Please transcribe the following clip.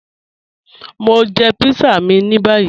Mọ̀ ń jẹ̀ pítsà mí ní báyì